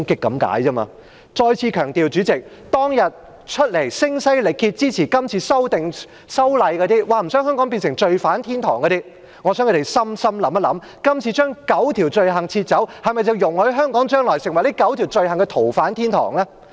主席，我再次強調，我想聲嘶力竭支持今次修例、說不想香港變成罪犯天堂的那些人認真想想，今次將9項罪類剔除的做法是否容許香港將來成為這9項罪類的逃犯天堂？